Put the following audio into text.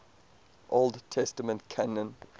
old testament canon